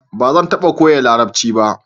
Ba zan taba koya larabci ba